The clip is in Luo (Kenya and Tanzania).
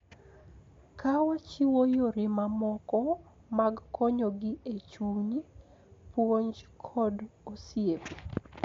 Ka wachiwo yore mamoko mag konyogi e chuny, puonj, kod osiep.